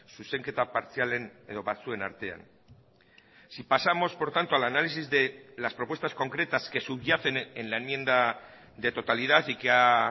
zuzenketa partzialen edo batzuen artean si pasamos por tanto al análisis de las propuestas concretas que subyacen en la enmienda de totalidad y que ha